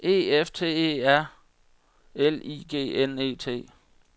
E F T E R L I G N E T